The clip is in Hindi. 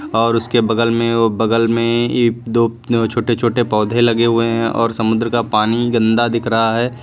और उसके बगल में वो बगल में ये दो छोटे छोटे पौधे लगे हुए हैं और समुद्र का पानी गंदा दिख रहा है।